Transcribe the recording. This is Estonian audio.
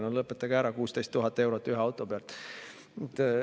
No lõpetage ära, 16 000 eurot ühe auto pealt!